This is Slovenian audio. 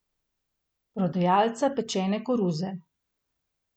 Prodajalca pečene koruze.